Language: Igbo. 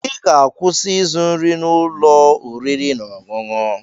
Ị ga-akwụsị ịzụ nri n'ụlọ oriri na ọṅụṅụ!